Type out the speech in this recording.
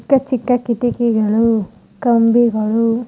ಚಿಕ್ಕ ಚಿಕ್ಕ ಕಿಟಕಿಗಳು ಕಂಬಿಗಳು --